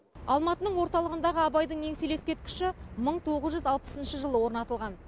алматының орталығындағы абайдың еңселі ескерткіші мың тоғыз жүз алпысыншы жылы орнатылған